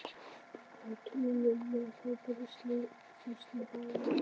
Á tunnuna með hann, hrópaði sýslumaður.